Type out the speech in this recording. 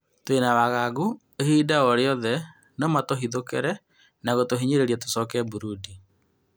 "Tũĩna wagagu ihinda orĩothe no matũthitũkĩre na gũtũhinyĩrĩria tũcoke Burundi".